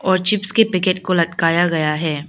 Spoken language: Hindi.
और चिप्स के पैकेट को लटकाया गया है।